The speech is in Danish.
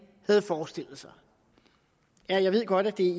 havde forestillet sig jeg ved godt at det